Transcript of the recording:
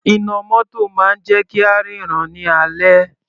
Iná mótò máa ń jẹ́ kí á ríran ní alẹ́.